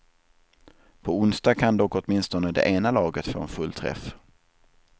På onsdag kan dock åtminstone det ena laget få en fullträff.